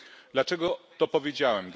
Dlaczego to powiedziałem?